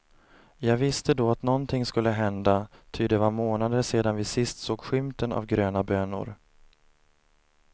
Jag viste då att någonting skulle hända, ty det var månader sedan vi sist såg skymten av gröna bönor.